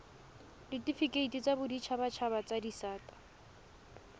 ditifikeiti tsa boditshabatshaba tsa disata